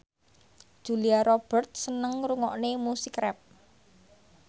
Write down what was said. Julia Robert seneng ngrungokne musik rap